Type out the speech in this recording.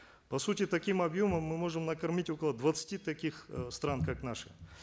по сути таким объемом мы можем накормить около двадцати таких э стран как наши